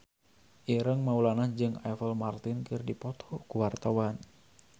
Ireng Maulana jeung Apple Martin keur dipoto ku wartawan